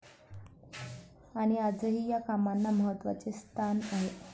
आणि आजही या कामांना महत्वाचे स्थान आहे.